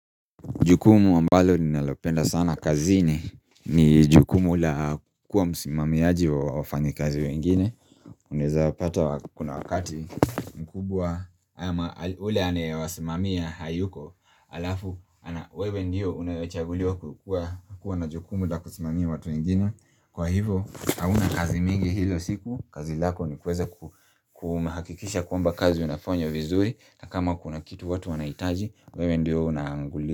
Jukumu ambalo ninalopenda sana kazini ni jukumu la kuwa musimamiaji wa wafanyi kazi wengine Unaweza pata kuna wakati mkubwa yule anayewasimamia hayuko halafu wewe ndio unayechaguliwa kukuwa na jukumu la kusimamia watu wengine Kwa hivo hauna kazi mingi hilo siku kazi lako ni kuweza kuhakikisha kwamba kazi inafanywa vizuri na kama kuna kitu watu wanahitaji wewe ndio unaanguli.